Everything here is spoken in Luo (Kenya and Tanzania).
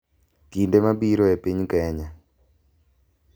Kinde mabiro e piny Kenya